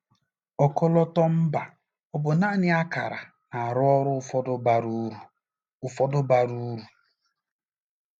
Ọkọlọtọ mba ọ bụ naanị ákàrà na-arụ ọrụ ụfọdụ bara uru? ụfọdụ bara uru?